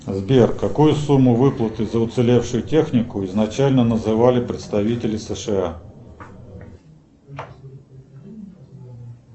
сбер какую сумму выплаты за уцелевшую технику изначально называли представители сша